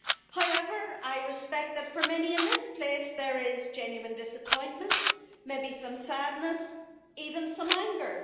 However, I respect that for many in this place there is genuine disappointment, maybe some sadness and even some anger.